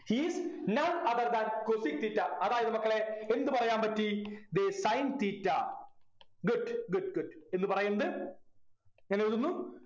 he is none other than cosec theta അതായിരുന്നു മക്കളെ എന്ത് പറയാൻ പറ്റി ദേ sin theta good good good എന്ന് പറയുന്നത് ഞനെഴുതുന്നു